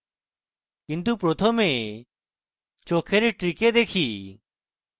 কিন্তু প্রথমে চোখের trick দেখি